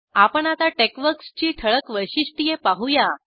आपण आता टेक्सवर्क्स ची ठळक वैशिष्ट्ये पाहू या